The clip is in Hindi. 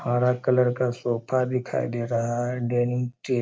हरा कलर का सोफा दिखाई दे रहा है। डाइनिंग टे --